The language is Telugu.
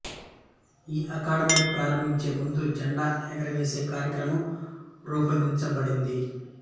ఈ అకాడమీ ప్రారంభించే ముందు జెండా ఎగురవేసే కార్యక్రమం రూపొందించబడింది